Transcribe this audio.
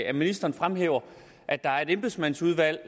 at ministeren fremhæver at der er et embedsmandsudvalg